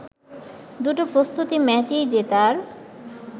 দুটো প্রস্তুতি ম্যাচেই জেতার